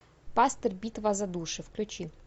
пастырь битва за души включи